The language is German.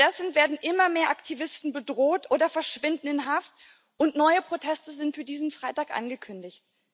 Stattdessen werden immer mehr Aktivisten bedroht oder verschwinden in Haft, und neue Proteste sind für diesen Freitag angekündigt.